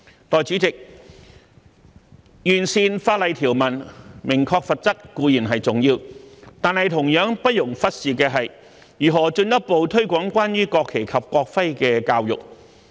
代理主席，完善法例條文，明確罰則，固然重要，但同樣不容忽視的，是如何進一步推廣關於國旗及國徽的教育。